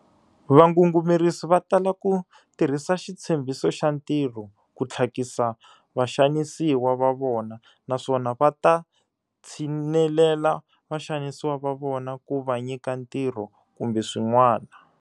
Vangungumerisi va tala ku tirhisa xitshembhiso xa ntirho ku tlhakisa vaxanisiwa va vona naswona va ta tshinelela vaxanisiwa va vona ku va nyika ntirho kumbe swin'wana.